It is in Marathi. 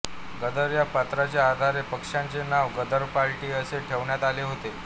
गदर या पत्राच्या आधारे पक्षाचे नाव गदर पार्टी असे ठेवण्यात आले होते